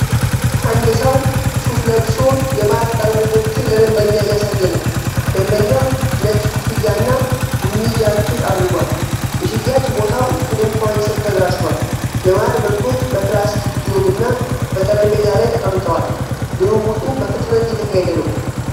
አንድ ሰው ሱፍ ለብሶ የማር ጠርሙሶችን ለደንበኛ እያሳየ ነው። ደንበኛው ነጭ ኮፍያ እና ቡኒ ጃኬት አድርጓል። የሽያጭ ቦታው ከድንኳን ሥር ተደራጅቷል፤ የማር ምርቶች በፕላስቲክ ጆግ እና በጠረጴዛ ላይ ተቀምጠዋል። ልውውጡ በፍጥነት እየተካሄደ ነው።